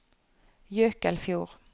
Jøkelfjord